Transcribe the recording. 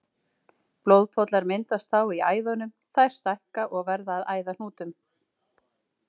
Blóðpollar myndast þá í æðunum, þær stækka og verða að æðahnútum.